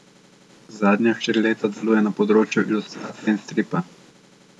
Zadnja štiri leta deluje na področju ilustracije in stripa.